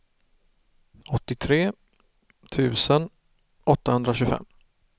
åttiotre tusen åttahundratjugofem